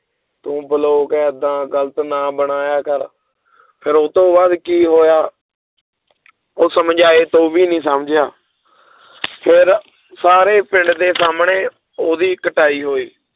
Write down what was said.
ਤੂੰ ਬਲੋਗ ਏਦਾਂ ਗ਼ਲਤ ਨਾ ਬਣਾਇਆ ਕਰ ਫਿਰ ਉਹ ਤੋਂ ਬਾਅਦ ਕੀ ਹੋਇਆ ਉਹ ਸਮਝਾਏ ਤੋਂ ਵੀ ਨੀ ਸਮਝਿਆ ਫਿਰ ਸਾਰੇ ਪਿੰਡ ਦੇ ਸਾਹਮਣੇ ਉਹਦੀ ਕੁਟਾਈ ਹੋਈ